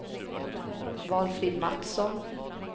Valfrid Mattsson